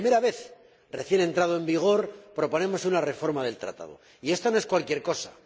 Por primera vez, recién entrado en vigor, proponemos una reforma del Tratado, y esto no es cualquier cosa.